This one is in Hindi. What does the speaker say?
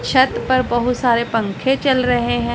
छत पर बहुत सारे पंखे चल रहे हैं।